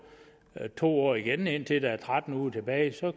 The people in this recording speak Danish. to år igen indtil der er tretten uger tilbage og